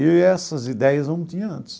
E essas ideias eu não tinha antes.